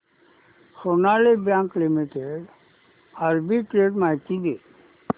Sonali bank limited arbitrage माहिती दे